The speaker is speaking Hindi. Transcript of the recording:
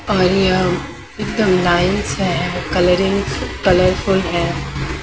और यहाँ सब लाइस है कलरिंग कलरफुल है।